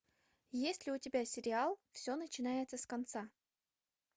есть ли у тебя сериал все начинается с конца